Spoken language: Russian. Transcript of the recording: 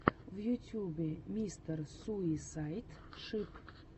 в ютьюбе мистер суисайд шип